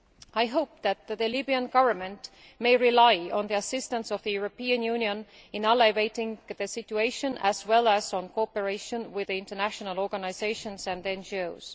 I hope that the Libyan Government may rely on the assistance of the European Union in alleviating the situation, as well as on cooperation with international organisations and NGOs.